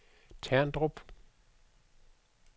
Terndrup